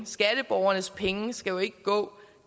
skatteborgernes penge skal jo ikke gå